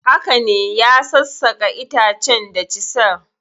Haka ne, ya sassaka itacen da chisel.